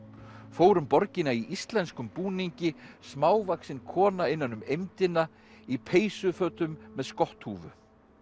fór um borgina í íslenskum búningi smávaxin kona innan um eymdina í peysufötum með skotthúfu